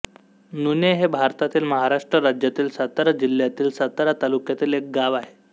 नुणे हे भारतातील महाराष्ट्र राज्यातील सातारा जिल्ह्यातील सातारा तालुक्यातील एक गाव आहे